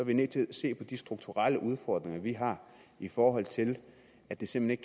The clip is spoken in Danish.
vi nødt til at se på de strukturelle udfordringer vi har i forhold til at det simpelt